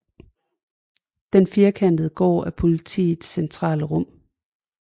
Den firkantede gård er Politigårdens centrale rum